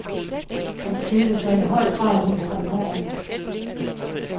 Han skilte sig i høj grad ud fra normen.